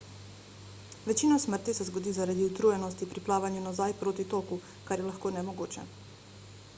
večina smrti se zgodi zaradi utrujenosti pri plavanju nazaj proti toku kar je lahko nemogoče